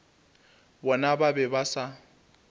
bona ba be ba sa